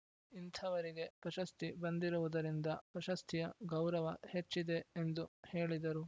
ಇಂಥವರಿಗೆ ಪ್ರಶಸ್ತಿ ಬಂದಿರುವುದರಿಂದ ಪ್ರಶಸ್ತಿಯ ಗೌರವ ಹೆಚ್ಚಿದೆ ಎಂದು ಹೇಳಿದರು